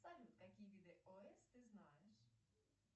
салют какие виды ос ты знаешь